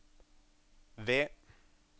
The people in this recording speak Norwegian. V